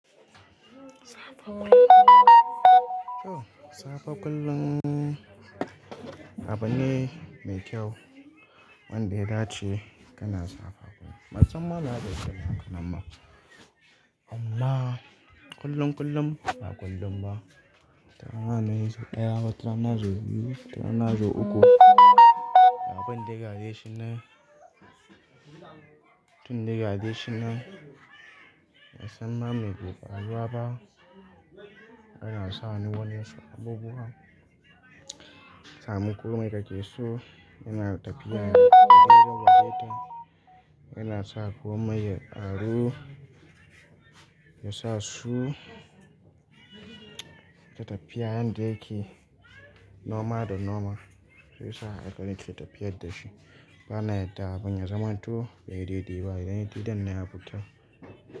Safa kullum. Oh, safa kullum, aba ne mai kyau. Wanda ya dace kana sawa kullum. Musamman ma ga kankanan yara amma kullum kullum ba kullum ba. Wata rana sau daya, wata rana sau biyu, wata rana sau uku abun dai gadai shinan abun dai gashi nan dai, bansan ma meke faruwa ba Ana sani wasu abubuwan Sa muku mai kakesu. Yana tafiya yana gogewa waje ta. Yana sa ku mai a ru. Yana sa su ta tafiya yadda yake noma da noma. Sai sa aika nika tafiyar da shi. Bana yadda abun ya zaman tu ya yi daidai ba. Idan ya yi didan na ya fita.